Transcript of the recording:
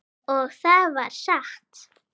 Og það var satt.